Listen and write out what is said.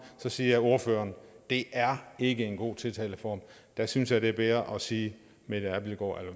siger ordføreren det er ikke en god tiltaleform der synes jeg det er bedre at sige mette abildgaard